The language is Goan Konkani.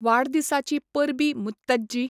वाडदिसाची परबीं मुत्तज्जी!